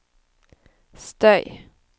støy